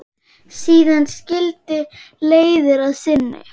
Síðan skildi leiðir að sinni.